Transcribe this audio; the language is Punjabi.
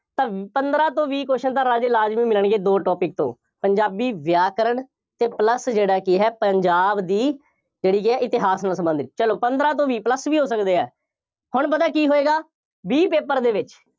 ਤਾਂ ਪੰਦਰਾਂ ਤੋਂ ਵੀਹ question ਤਾਂ ਰਾਜੇ ਲਾਜ਼ਮੀ ਮਿਲਣਗੇ ਦੋ topic ਤੋਂ, ਪੰਜਾਬੀ ਵਿਆਕਰਣ ਅਤੇ plus ਜਿਹੜਾ ਕੀ ਹੈ, ਪੰਜਾਬ ਦੀ ਜਿਹੜੀ ਕਿ ਹੈ, ਇਤਿਹਾਸ ਨਾਲ ਸੰਬੰਧਿਤ, ਚੱਲੋ ਪੰਦਰਾਂ ਤੋਂ ਵੀਹ plus ਵੀ ਹੋ ਸਕਦੇ ਆ, ਹੁਣ ਪਤਾ ਕੀ ਹੋਏਗਾ, B paper ਦੇ ਵਿੱਚ